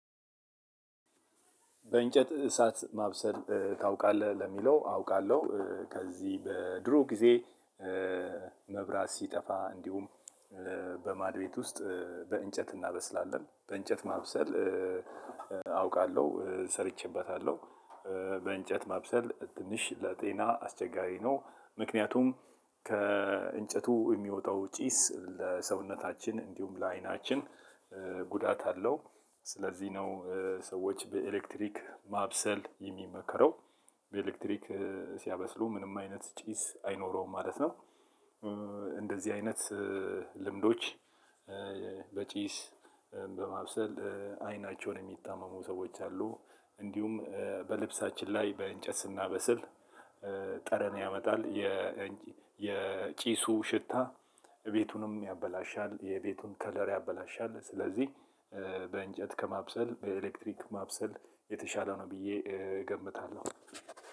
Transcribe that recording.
በእንጨት እሳት ማብሰል ታውቃለህ ለሚለው አውቃለሁ ከዚህ በድሮ ጊዜ። መብራት ሲጠፋ እንዲሁም በማድ ቤት ውስጥ በእንጨት እናበስላለን በእንጨት ማብሰል። አውቃለሁ ሰርቼበታለሁ። በእንጨት ማብሰል ትንሽ ለጤና አስቸጋሪ ነው ምክንያቱም ከእንጨቱ የሚወጣው ጪስ ለሰውነታችን እንዲሁም ለአይናችን ጉዳት አለው። ስለዚህ ነው ሰወች በኤሌክትሪክ ማብሰል የሚመከረው። በኤሌክትሪክ ሲያበስሉ ምንም አይነት ጭስ አይኖረውም ማለት ነው። እንደዚህ አይነት ልምዶች። በጪስ በማብሰል አይናቸውን የሚታመሙ ሰዎች አሉ። እንዲሁም በልብሳችን ላይ በእንጨት ስናበስል ጠረን ያመጣል። የጪሱ ሽታ እቤቱንም ያበላሻል የቤቱን ከለር ያበላሻል። ስለዚህ በእንጨት ከማብሰል በኤሌክትሪክ ማብሰል የተሻለው ነው ብዬ እገምታለሁ።